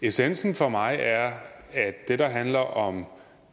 essensen for mig er at det der handler om